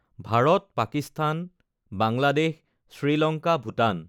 Bharat, Pakistan, Bangladesh, Sri Lanka, Bhutan